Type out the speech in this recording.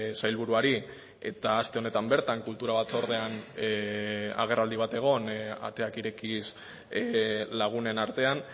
sailburuari eta aste honetan bertan kultura batzordean agerraldi bat egon ateak irekiz lagunen artean